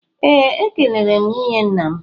Ee, ekelere m nwunye nna m